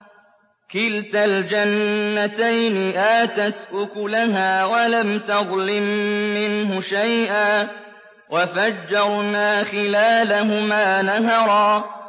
كِلْتَا الْجَنَّتَيْنِ آتَتْ أُكُلَهَا وَلَمْ تَظْلِم مِّنْهُ شَيْئًا ۚ وَفَجَّرْنَا خِلَالَهُمَا نَهَرًا